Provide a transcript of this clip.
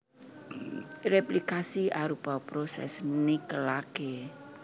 Réplikasi arupa prosès nikelaké